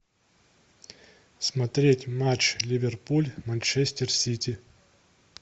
смотреть матч ливерпуль манчестер сити